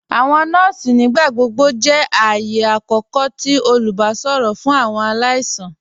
Awọn nọọ̀sì nígbàgbọ̀gbọ̀ jẹ́ ààyẹ̀ àkókò tì olùbàṣọ̀rọ̀ fún awọn aláìsàn.